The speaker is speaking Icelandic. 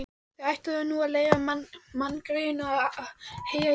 Þið ættuð nú að leyfa manngreyinu að heyja í friði